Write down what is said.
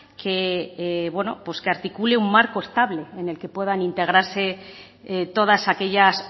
que bueno pues que articule un marco estable en el que puedan integrarse todas aquellas